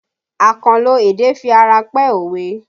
Akanlo èdè fi ara pẹ́ òwe